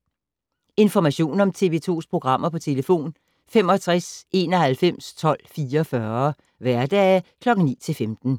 Information om TV 2's programmer: 65 91 12 44, hverdage 9-15.